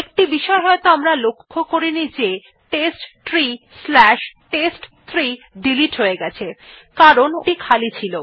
একটি বিষয় হয়তো আমরা লক্ষ্য করিনি যে testtreeটেস্ট3 ডিলিট হয়ে গেছে কারণ ওটি খালি ছিল